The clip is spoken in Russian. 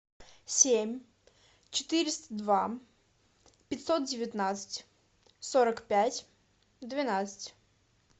семь четыреста два пятьсот девятнадцать сорок пять двенадцать